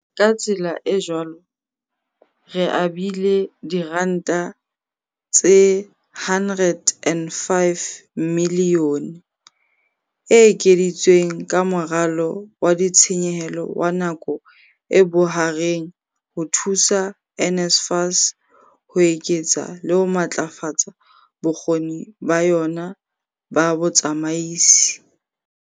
"Ka tsela e jwalo re abile R105 miliyone e ekeditsweng ka Moralo wa Ditshenyehelo wa Nako e Bohareng ho thusa NSFAS ho eketsa le ho matlafatsa bokgoni ba yona ba botsamaisi."